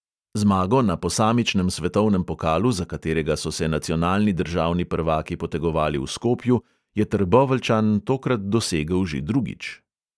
Zmago na posamičnem svetovnem pokalu, za katerega so se nacionalni državni prvaki potegovali v skopju, je trboveljčan tokrat dosegel že drugič.